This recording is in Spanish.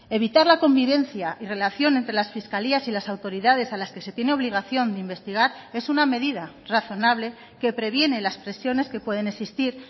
evitar la convivencia y relación entre las fiscalías y las autoridades a las que se tiene obligación de investigar es una medida razonable que previene las presiones que pueden existir